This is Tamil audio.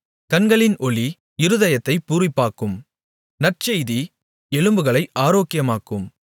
கண்களின் ஒளி இருதயத்தைப் பூரிப்பாக்கும் நற்செய்தி எலும்புகளை ஆரோக்கியமாக்கும்